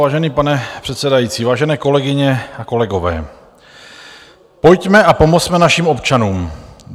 Vážený pane předsedající, vážené kolegyně a kolegové, pojďme a pomozme našim občanům.